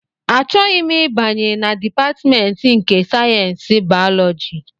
Achọghị m ịbanye na Dipatmentị nke sayensị bayọlọji!